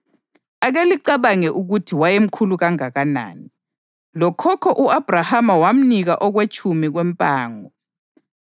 Ake licabange ukuthi wayemkhulu kangakanani: Lokhokho u-Abhrahama wamnika okwetshumi kwempango!